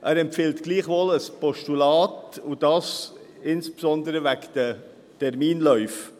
Er empfiehlt gleichwohl ein Postulat, und das insbesondere wegen den Terminläufen.